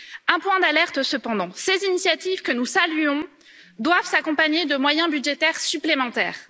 Un point d'alerte cependant ces initiatives, que nous saluons, doivent s'accompagner de moyens budgétaires supplémentaires.